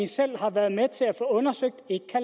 selv har været med til at få undersøgt